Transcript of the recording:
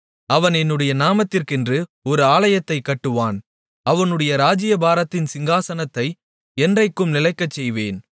அவன் என்னுடைய நாமத்திற்கென்று ஒரு ஆலயத்தைக் கட்டுவான் அவனுடைய ராஜ்ஜியபாரத்தின் சிங்காசனத்தை என்றைக்கும் நிலைக்கச்செய்வேன்